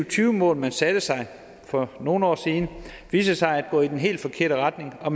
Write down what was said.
tyve mål man satte sig for nogle år siden viste sig at gå i den helt forkerte retning og